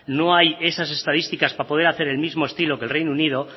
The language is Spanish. no hay esas estadísticas para poder hacer el mismo estilo que el reino unido